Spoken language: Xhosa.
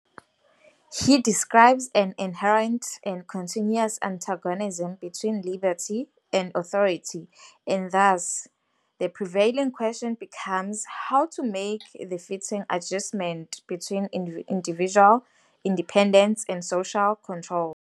He describes an inherent and continuous antagonism between liberty and authority and thus, the prevailing question becomes "how to make the fitting adjustment between individual independence and social control".